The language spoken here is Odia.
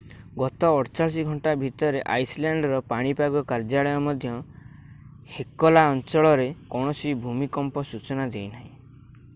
ଗତ 48 ଘଣ୍ଟା ଭିତରେ ଆଇସଲ୍ୟାଣ୍ଡର ପାଣିପାଗ କାର୍ଯ୍ୟାଳୟ ମଧ୍ୟ ହେକଲା ଅଞ୍ଚଳରେ କୌଣସି ଭୂମିକମ୍ପର ସୂଚନା ଦେଇନାହିଁ